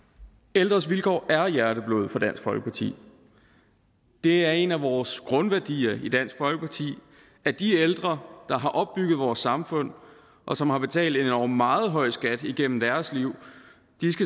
ældres vilkår er hjerteblod for dansk folkeparti det er en af vores grundværdier i dansk folkeparti at de ældre der har opbygget vores samfund og som har betalt en endog meget høj skat igennem deres liv